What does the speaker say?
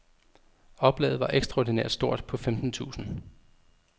Oplaget var ekstraordinært stort på femten tusind.